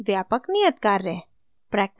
व्यापक नियतकार्य